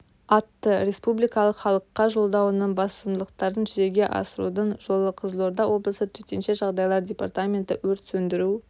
атты республикалық халыққа жолдауының басымдықтарын жүзеге асырудың жолы қызылорда облысы төтенше жағдайлар департаменті өрт сөндіру